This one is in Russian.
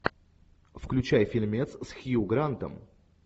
включай фильмец с хью грантом